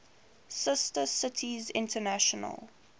sister cities international